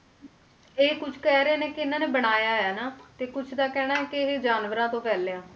ਇਹ ਕੁਛ ਕਹਿ ਰਹੇ ਨੇ ਕਿ ਇਹਨਾਂ ਨੇ ਬਣਾਇਆ ਹੈ ਨਾ ਤੇ ਕੁਛ ਦਾ ਕਹਿਣਾ ਹੈ ਕਿ ਇਹ ਜਾਨਵਰਾਂ ਤੋਂ ਫੈਲਿਆ।